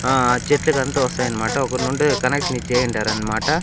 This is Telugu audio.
ఆ చెట్లుకంతా వస్తాయన్మాట ఒకరు నుండి కనెక్షన్ ఇచ్చేసింటారన్మాట.